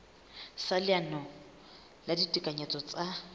sa leano la ditekanyetso tsa